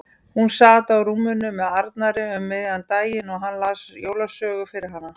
Hún sat á rúminu með Arnari um miðjan daginn og hann las jólasögu fyrir hana.